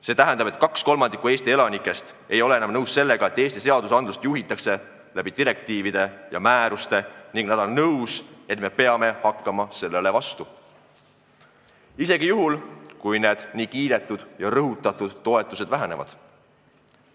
See tähendab, et 2/3 Eesti elanikest ei ole enam nõus sellega, et Eesti seadusandlust kujundatakse eurodirektiivide ja -määrustega, ning nad on nõus, et me peame sellele vastu hakkama, isegi kui need nii kiidetud ja rõhutatud toetused vähenevad.